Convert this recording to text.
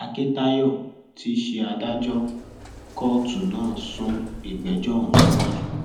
akíntayọ tí í ṣe adájọ kóòtù náà sún ìgbẹjọ ọhún síwájú